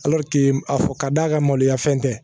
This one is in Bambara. a fɔ ka d'a ka maloya fɛn tɛ